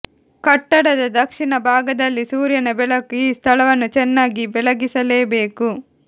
ಕಟ್ಟಡದ ದಕ್ಷಿಣ ಭಾಗದಲ್ಲಿ ಸೂರ್ಯನ ಬೆಳಕು ಈ ಸ್ಥಳವನ್ನು ಚೆನ್ನಾಗಿ ಬೆಳಗಿಸಲೇಬೇಕು